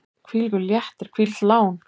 Hvílíkur léttir, hvílíkt lán!